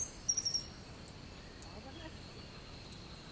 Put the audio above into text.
Hvaðan ertu?